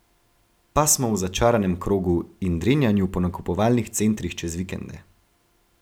Pa smo v začaranem krogu in drenjanju po nakupovalnih centrih čez vikende.